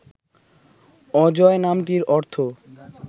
অজয় নামটির অর্থ